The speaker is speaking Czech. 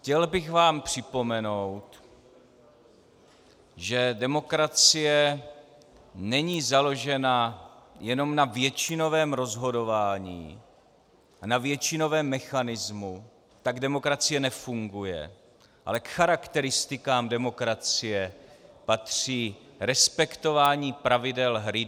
Chtěl bych vám připomenout, že demokracie není založena jenom na většinovém rozhodování a na většinovém mechanismu, tak demokracie nefunguje ale k charakteristikám demokracie patří respektování pravidel hry.